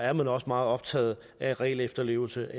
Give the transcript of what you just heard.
er man også meget optaget af regelefterlevelse